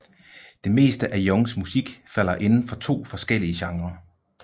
Det meste af Youngs musik falder inden for to forskellige genrer